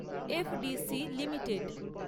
FDC limited